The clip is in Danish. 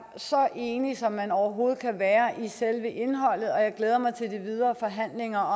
så enige som man overhovedet kan være i selve indholdet og jeg glæder mig til de videre forhandlinger